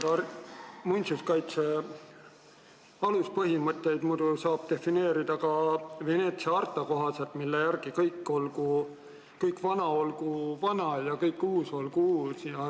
Jah, muinsuskaitse aluspõhimõtteid saab defineerida ka Veneetsia harta kohaselt, mille järgi kõik vana olgu vana ja kõik uus olgu uus.